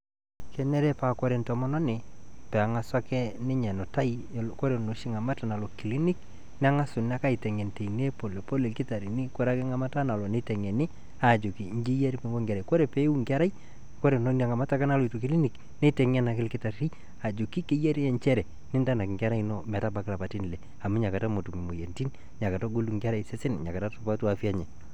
kenare pawore entomononi peng'asa ninye enutai koree noshi kata nalo clinic nenga'suni aitengen tine polepole ilkitarini nitengeni koree peiuu nkerai nitengen ake ilkitari ajoki njere pintanak nkerai ino aitabaya lapaitin ile amu nakata metum imoyiaritin nakegolu nkerai sesen nainakata supatu sesen lenye